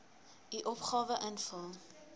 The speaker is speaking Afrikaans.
u opgawe invul